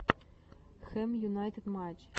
хэм юнайтед матч